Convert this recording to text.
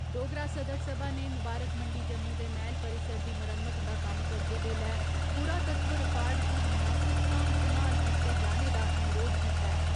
डोगरा सदर सभा ने मुबारख मंडी जम्मू दे मैह्‌ल परिसर दी मरम्मत दा कम्म करदे बेल्लै पुरात्तव रिकार्ड दी मुनासब साम्भ सम्भाल कीते जाने दा अनुरोध कीता ऐ।